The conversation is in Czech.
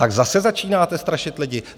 Tak zase začínáte strašit lidi?